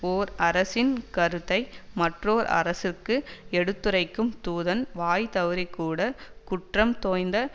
ஓர் அரசின் கருத்தை மற்றோர் அரசுக்கு எடுத்துரைக்கும் தூதன் வாய்தவறிக்கூட குற்றம் தோய்ந்த